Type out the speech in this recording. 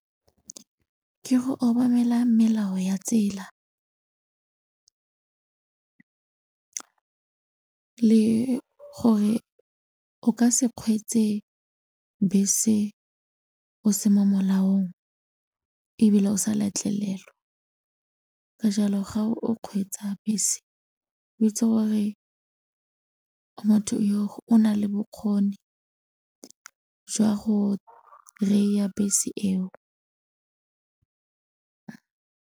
Ke go obamela melao ya tsela le gore o ka se kgweetse bese o se mo molaong ebile o sa letlelelwa, ka jalo ga o kgweetsa bese o itse gore motho yo o nale bokgoni jwa go ry-a bese eo.